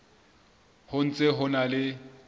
ho ntse ho na le